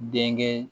Denkɛ